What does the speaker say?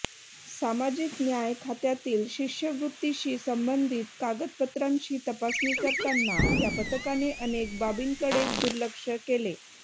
सामाजिक न्याय खात्यातील शिष्यवृत्तीशी संबंधित कागदपत्रांची तपासणी करताना या पथकाने अनेक बाबींकडे दुर्लक्ष केले